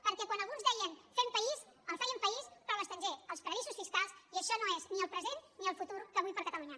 perquè quan alguns deien fem país feien país però a l’estranger als paradisos fiscals i això no és ni el present ni el futur que vull per a catalunya